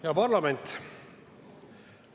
Hea parlament!